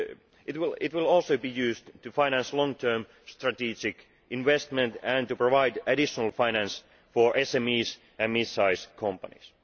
It will also be used to finance long term strategic investment and to provide additional finance for SMEs and mid sized companies.